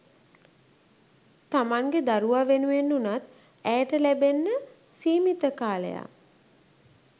තමන්ගෙ දරුවා වෙනුවෙන් වුණත් ඇයට ලැබෙන්න සීමිත කාලයක්